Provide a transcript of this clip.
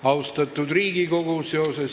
Austatud Riigikogu!